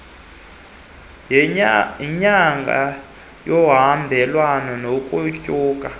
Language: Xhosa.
yenyanga luhambelane nokunyuka